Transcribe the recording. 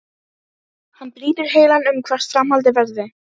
Hann brýtur heilann um hvert framhaldið verði.